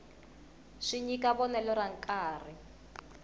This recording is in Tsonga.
swi nyika vonelo ra nkarhi